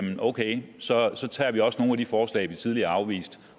okay så så tager vi også nogle af de forslag vi tidligere afviste